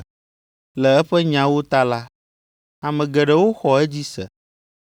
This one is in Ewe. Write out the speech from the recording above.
Le eƒe nyawo ta la, ame geɖewo xɔ edzi se.